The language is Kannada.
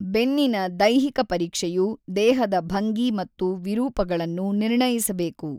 ಬೆನ್ನಿನ ದೈಹಿಕ ಪರೀಕ್ಷೆಯು ದೇಹದ ಭಂಗಿ ಮತ್ತು ವಿರೂಪಗಳನ್ನು ನಿರ್ಣಯಿಸಬೇಕು.